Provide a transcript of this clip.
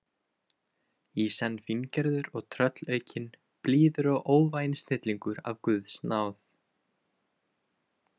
í senn fíngerður og tröllaukinn, blíður og óvæginn snillingur af guðs náð.